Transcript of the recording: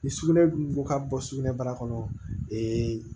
Ni sugunɛ dun ka bɔ sugunɛ bara kɔnɔ